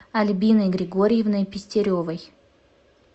альбиной григорьевной пестеревой